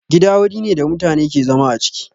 Gida wuri ne da mutane ke zama a ciki